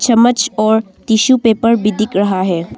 चम्मच और tissue paper भी दिख रहा है।